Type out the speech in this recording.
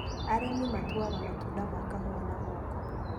Arĩmi matuaga matunda ma kahũa na moko.